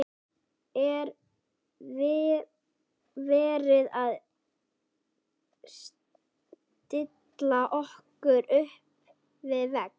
Er verið að stilla okkur upp við vegg?